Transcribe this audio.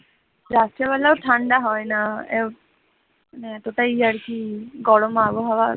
রাত্রের বেলাও ঠান্ডা হয় না মানে এতটাই আর কি গরম আবহাওয়া,